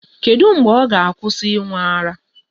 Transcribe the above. Kedu mgbe ọ ga-akwụsị ịṅụ ara?